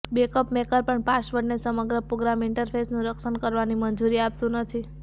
backup maker પણ પાસવર્ડને સમગ્ર પ્રોગ્રામ ઇન્ટરફેસનું રક્ષણ કરવાની મંજૂરી આપતું નથી